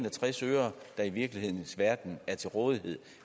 virkelighedens verden er til rådighed